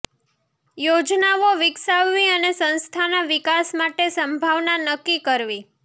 યોજનાઓ વિકસાવવી અને સંસ્થાના વિકાસ માટે સંભાવના નક્કી કરવી